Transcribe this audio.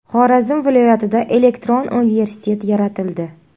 Xorazm viloyatida elektron universitet yaratildi.